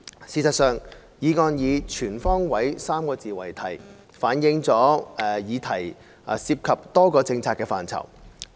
事實上，議案以"全方位 "3 個字為題，反映議題涉及多個政策範疇。